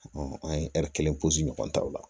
an ye kelen ɲɔgɔn ta o la